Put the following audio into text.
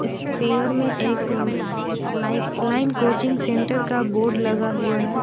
Aspire में एक lifeline coaching centre का बोर्ड लगा हुआ है।